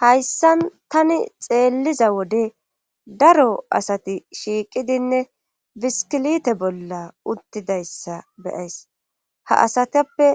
hayssan tani xeelliza wode daro asati shiiqidinne biskilite bolla uttidayssa beyays ha asatappe